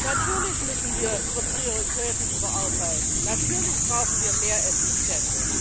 Natürlich müssen wir unsere Prioritäten überarbeiten, natürlich brauchen wir mehr Effizienz.